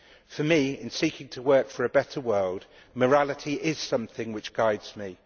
For me, in seeking to work for a better world, morality is something which guides me.